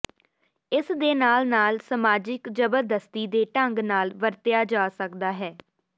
ਇਸ ਦੇ ਨਾਲ ਨਾਲ ਸਮਾਜਿਕ ਜ਼ਬਰਦਸਤੀ ਦੇ ਢੰਗ ਨਾਲ ਵਰਤਿਆ ਜਾ ਸਕਦਾ ਹੈ